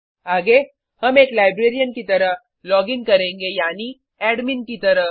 आगे हम एक लाइब्रेरियन की तरह लॉगिन करेंगे यानी एडमिन की तरह